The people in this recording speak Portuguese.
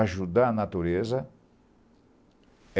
Ajudar a natureza?